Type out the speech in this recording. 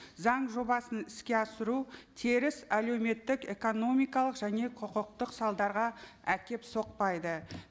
заң жобасын іске асыру теріс әлеуметтік экономикалық және құқықтық салдарға әкеліп соқпайды